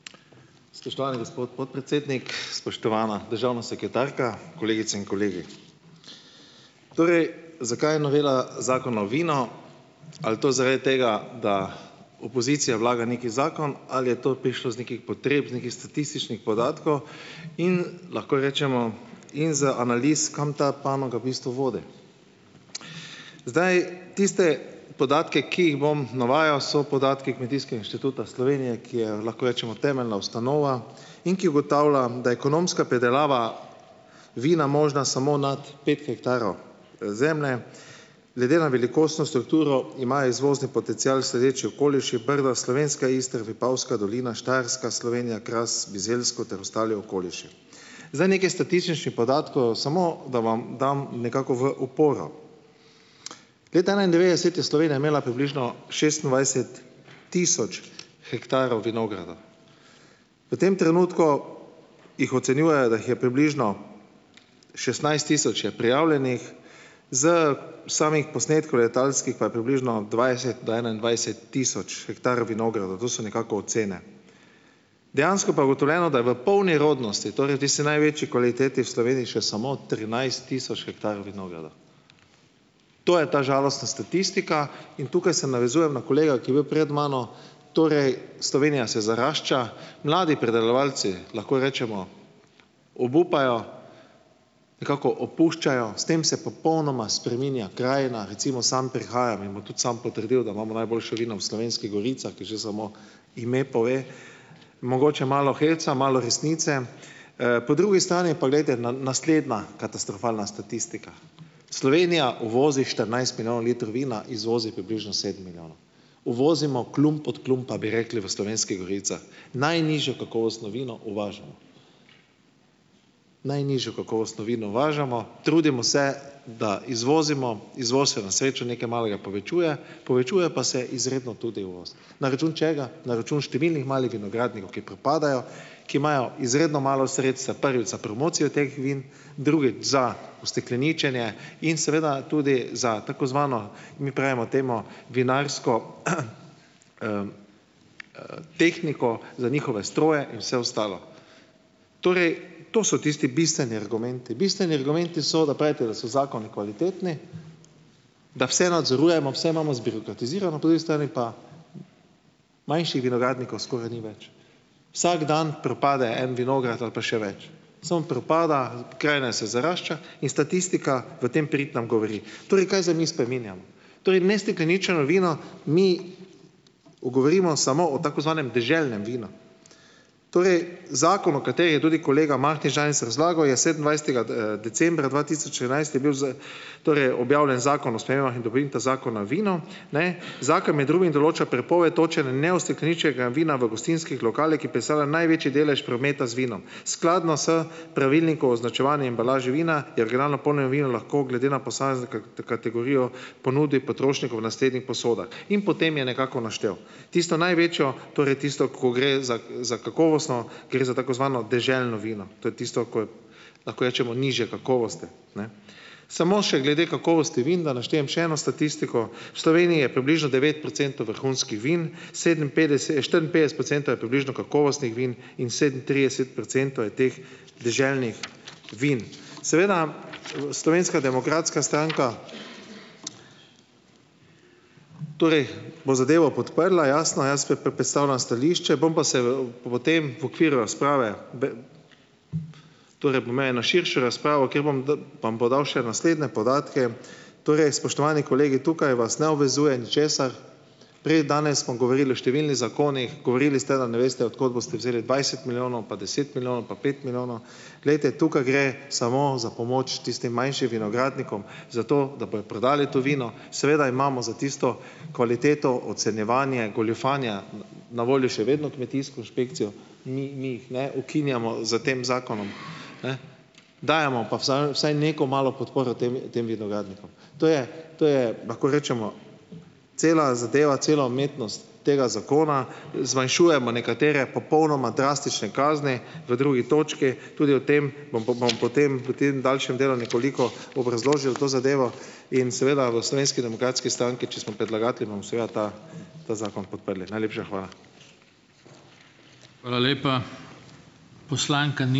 Spoštovani gospod podpredsednik, spoštovana državna sekretarka, kolegice in kolegi! Torej, zakaj novela Zakona o vinu? Ali to zaradi tega, da opozicija vlaga neki zakon, ali je to prišlo iz nekih potreb, iz nekih statističnih podatkov in lahko rečemo - in za analize, kam ta panoga v bistvu vodi. Zdaj, tiste podatke, ki jih bom navajal, so podatki Kmetijskega inštituta Slovenije, ki je, lahko rečemo, temeljna ustanova in ki ugotavlja, da je ekonomska pridelava vina možna samo nad pet hektarov, zemlje. Glede na velikostno strukturo imajo izvozni potencial sledeči okoliši: Brdo, Slovenska Istra, Vipavska dolina, Štajerska Slovenija, Kras, Bizeljsko ter ostali okoliši. Zdaj, nekaj statističnih podatkov, samo da vam dam nekako v oporo. Glejte, enaindevetdeset je Slovenija imela približno šestindvajset tisoč hektarov vinogradov. V tem trenutku jih ocenjujejo, da jih je približno šestnajst tisoč je prijavljenih, s samih posnetkov letalskih pa je približno dvajset do enaindvajset tisoč hektarov vinogradov. To so nekako ocene. Dejansko pa je ugotovljeno, da je v polni rodnosti, torej v tisti največji kvaliteti, v Sloveniji še samo trinajst tisoč hektarov vinogradov. To je ta žalostna statistika. In tukaj se navezujem na kolega, ki je bil pred mano. Torej Slovenija se zarašča, mladi pridelovalci, lahko rečemo, obupajo, nekako opuščajo - s tem se popolnoma spreminja krajina. Recimo, sam prihajam - in bom tudi sam potrdil, da imamo najboljšo vino v Slovenskih goricah, kjer že samo ime pove - mogoče malo heca, malo resnice. Po drugi strani pa, glejte, naslednja katastrofalna statistika. Slovenija uvozi štirinajst milijonov litrov vina, izvozi približno sedem milijonov. Uvozimo klump od klumpa, bi rekli v Slovenskih goricah. Najnižje kakovostno vino uvažamo. Najnižje kakovostno vino uvažamo. Trudimo se, da izvozimo, izvoz se na srečo nekaj malega povečuje, povečuje pa se izredno tudi uvoz. Na račun česa? Na račun številnih malih vinogradnikov, ki propadajo, ki imajo izredno malo sredstev, prvič za promocijo teh vin, drugič za ustekleničenje in seveda tudi za tako zvano, mi pravimo temu vinarsko tehniko, za njihove stroje in vse ostalo. Torej, to so tisti bistveni argumenti. Bistveni argumenti so, da pravite, da so zakoni kvalitetni, da vse nadzorujemo, vse imamo zbirokratizirano, po drugi strani pa manjših vinogradnikov skoraj ni več. Vsak dan propade en vinograd ali pa še več. Samo propada, pokrajina se zarašča in statistika v tem prid nam govori. Torej, kaj zdaj mi spreminjamo. Torej, neustekleničeno vino mi, govorimo samo o tako zvanem deželnem vinu. Torej, zakon, o katerem je tudi kolega Mahnič danes razlagal, je sedemindvajsetega, decembra dva tisoč enajst je bil torej objavljen Zakon o spremembah in dopolnitvah Zakona vinu. Ne. Zakon med drugim določa prepoved točenja neustekleničenega vina v gostinskih lokalih, ki predstavlja največji delež prometa z vinom, skladno s pravilnikom o označevanju in embalaži vina jer, nerazumljivo, vinu lahko glede na posamezno kategorijo ponudi potrošniku v naslednjih posodah, in potem je nekako naštel tisto največjo, torej tisto, ko gre za za kakovostno, gre za tako zvano deželno vino, to je tisto, ko lahko rečemo, nižje kakovosti. Ne. Samo še glede kakovosti vin, da naštejem še eno statistiko. V Sloveniji je približno devet procentov vrhunskih vin, sedeminpetdeset, štiriinpetdeset procentov je približno kakovostnih vin in sedemintrideset procentov je teh deželnih vin. Seveda, Slovenska demokratska stranka, torej bo zadevo podprla, jasno. Jaz pa predstavljam stališče, bom pa se v v tem v okviru razprave, torej bom eno širšo razpravo, kjer bom bom podal še naslednje podatke. Torej, spoštovani kolegi, tukaj vas ne obvezuje ničesar. Prej, danes smo govorili o številnih zakonih, govorili ste, da ne veste, od kot boste vzeli dvajset milijonov pa deset milijonov pa pet milijonov. Glejte, tukaj gre samo za pomoč tistim manjšim vinogradnikom zato, da bojo prodali to vino. Seveda imamo za tisto kvaliteto ocenjevanje, goljufanja na voljo še vedno kmetijsko inšpekcijo, mi mi jih ne ukinjamo s tem zakonom, ne, dajemo pa vsaj neko malo podporo tem tem vinogradnikom. To je, to je, lahko rečemo, cela zadeva, cela umetnost tega zakona. Zmanjšujemo nekatere popolnoma drastične kazni v drugi točki, tudi o tem bom bom bom potem v tem daljšem delu nekoliko obrazložil to zadevo in seveda v Slovenski demokratski stranki, če smo predlagatelji, bomo seveda ta ta zakon podprli. Najlepša hvala.